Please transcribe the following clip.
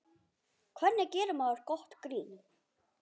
Hvernig gerir maður gott grín?